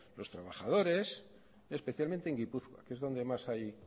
los trabajadores especialmente en gipuzkoa que es donde más hay